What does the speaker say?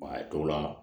a dɔw la